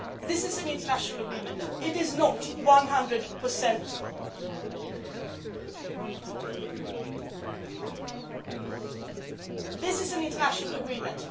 This is an international agreement.